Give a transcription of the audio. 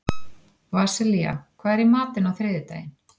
Vasilia, hvað er í matinn á þriðjudaginn?